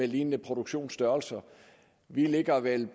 lignende produktionsstørrelser vi ligger vel